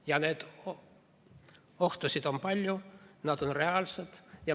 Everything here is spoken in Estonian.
Ja ohtusid on palju, need on reaalsed.